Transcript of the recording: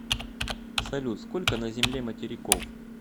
салют сколько на земле материков